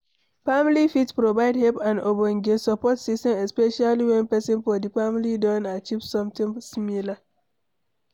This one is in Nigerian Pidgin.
Family fit provide help and ogbonge support system especially when person for di family don achive something similar